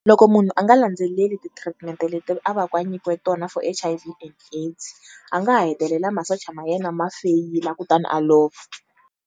Loko munhu a nga landzeleli ti-treatment-e leti a va ku a nyikiwe tona for H_I_V, and AIDS a nga ha hetelela masocha ma yena ma feyila kutani a lova.